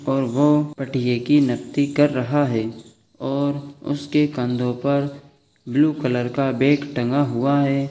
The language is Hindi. --और वो पटिये की कर रहा है और उसके कंधो पर ब्लू कलर का बेग टंगा हुआ है।